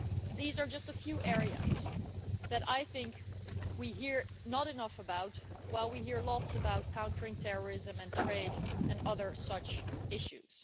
These are just a few areas that I do not think we hear enough about, while we hear lots about countering terrorism and trade and other such issues.